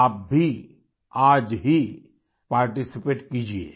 आप भी आज ही पार्टिसिपेट कीजिये